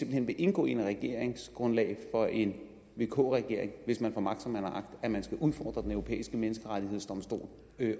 hen vil indgå i et regeringsgrundlag for en vk regering hvis man får magt som man har agt at man skal udfordre den europæiske menneskerettighedsdomstol